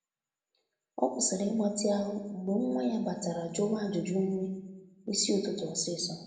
Ọ kwụsịrị ịgbatị ahu mgbe nwa ya batara juwa ajụjụ nri isi ụtụtụ ósisọ